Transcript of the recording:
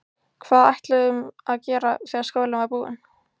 Hvað ætluðum að gera þegar skólinn var búinn?